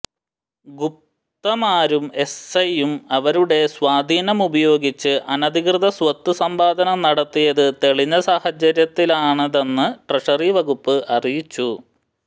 ഗുപ്തമാരും എസ്സയും അവരുടെ സ്വാധീനമുപയോഗിച്ച് അനധികൃത സ്വത്ത് സമ്പാദനം നടത്തിയത് തെളിഞ്ഞ സാഹചര്യത്തിലാണിതെന്ന് ട്രഷറി വകുപ്പ് അറിയിച്ചു